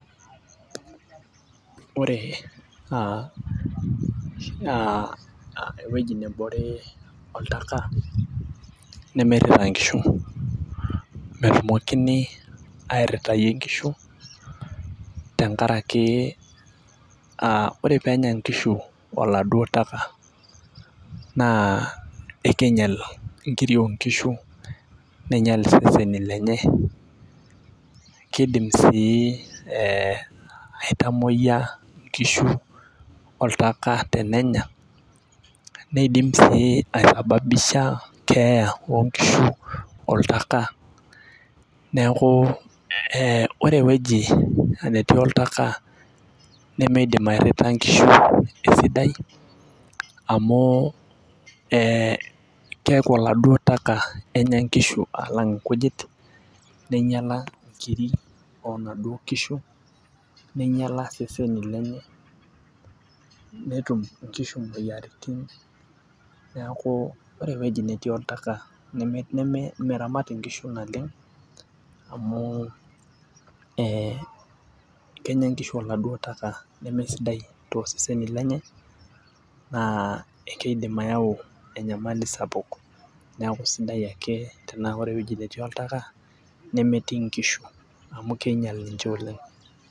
Ore aa ewueji nebore, oltaka nemeirita nkishu. metumokini airitayie nkishu, tenkaraki a ore peenyae nkishu oladuop taka, naa ekingial nkiri oo nkishu, neing'ial iseseni lenye keidim sii ee aitamoyia nkishu oltaka tenenya. neidim. sii aisababisha enkeeya oo nkishu oltaka. neeku ee ore ewueji ee netii oltaka. Nemeidim airita nkishu esidai, amu ee keeku oladuo taka Enya nkishu alang' nkujit. neing'ial nkiri onaduoo kishu. neingiala seseni lenye. netum. nkishu moyiaritin. neeku. ore ewueji netii oltaka nemeramati nkishu naleng. amu ee kenya nkishu oladuo taka leme sidai tooseseni lenye. naa ekeidim ayau enyamali sapuk. neeku sidai ake tenaa ore ewueji netii oltaka, nemetii nkishu amu king'ial ninche oleng.